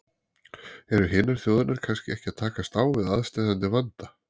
Eru hinar þjóðirnar kannski ekki að takast á við aðsteðjandi vanda?